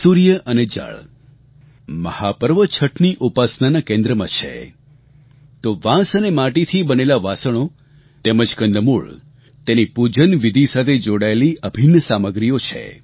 સૂર્ય અને જળ મહાપર્વ છઠની ઉપાસનાના કેન્દ્રમાં છે તો વાંસ અને માટીથી બનેલા વાસણો તેમજ કંદમૂળ તેની પૂજનવિધી સાથે જોડાયેલી અભિન્ન સામગ્રીઓ છે